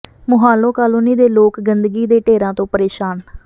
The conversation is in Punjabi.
ਮੁਹਾਲੋਂ ਕਾਲੋਨੀ ਦੇ ਲੋਕ ਗੰਦਗੀ ਦੇ ਢੇਰਾਂ ਤੋਂ ਪ੍ਰੇਸ਼ਾਨ